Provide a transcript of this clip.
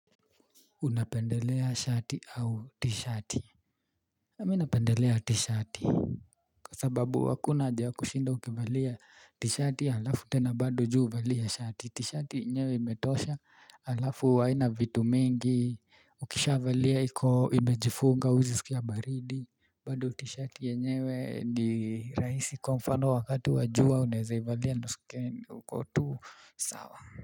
Unapendelea shati au tishati? Mimi napendelea tishati. Kwa sababu hakuna haja ya kushinda ukivalia tishati halafu tena bado juu uvalie shati. Tishati yenyewe imetosha halafu haina vitu mingi. Ukishavalia imejifunga huwezi sikia baridi. Bado tishati yenyewe ni rahisi kwa mfano wakati wajua unaweza ivalia na usikie uko tu sawa.